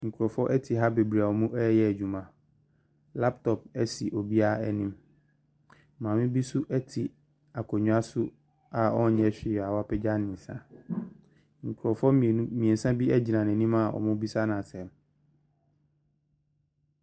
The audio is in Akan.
Nkorɔfoɔ ɛte ha bebiree ɔmo ɛyɛ adwuma laptɔp esi obia enim maame bi so ɛte akonya so a ɔnyɛ whee a wapegya ne nsa nkorɔfoɔ mienu miɛnsa bi agyina ne anim wɔn bisa no asɛm.